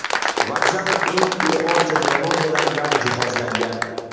Vokzal eng ilg‘or texnologiyalar bilan jihozlangan.